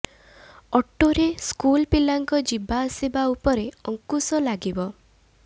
ଅଟୋରେ ସ୍କୁଲ ପିଲାଙ୍କ ଯିବା ଆସିବା ଉପରେ ଅଙ୍କୁଶ ଲାଗିବ